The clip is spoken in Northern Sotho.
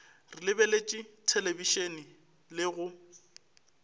re lebeletše thelebišene le go